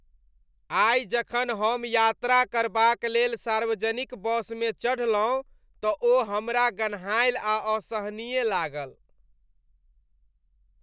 आइ जखन हम यात्रा करबाक लेल सार्वजनिक बसमे चढ़लहुँ तऽ ओ हमरा गन्हाएल आ असहनीय लागल।